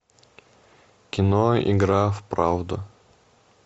кино игра в правду